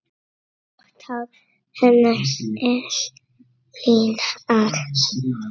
Grátt hár hennar er liðað.